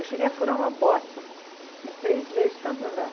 Eu cheguei a furar uma bota em três meses de tanto andar.